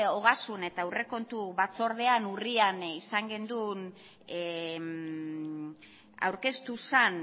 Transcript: ogasun eta aurrekontu batzordean urrian izan genuen aurkeztu zen